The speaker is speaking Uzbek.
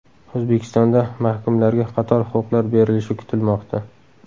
O‘zbekistonda mahkumlarga qator huquqlar berilishi kutilmoqda.